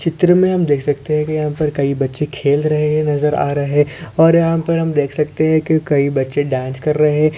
चित्र मे हम देख सकते है की यहाँ पर कही बच्चे खेल रहे है नजर आ रहे और यहाँ पर हम देख सकते है की कही बच्चे डांस कर रहे है।